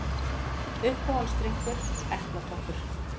Uppáhalds drykkur: epla toppur